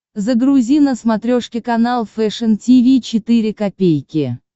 загрузи на смотрешке канал фэшн ти ви четыре ка